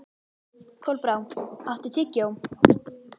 Kolbrá, áttu tyggjó?